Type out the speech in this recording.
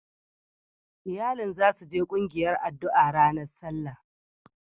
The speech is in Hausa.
Iyalin za su je kungiyar addu'a a ranar Sallah.